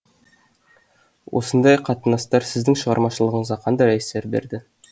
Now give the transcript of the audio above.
осындай қатынастар сіздің шығармашылығыңызға қандай әсер берді